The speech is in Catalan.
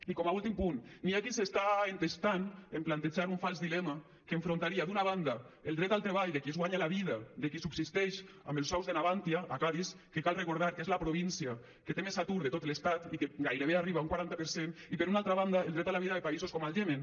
i com a últim punt hi ha qui s’està entestant a plantejar un fals dilema que enfrontaria d’una banda el dret al treball de qui es guanya la vida de qui subsisteix amb els sous de navantia a cadis que cal recordar que és la província que té més atur de tot l’estat i que gairebé arriba a un quaranta per cent i per una altra banda el dret a la vida de països com el iemen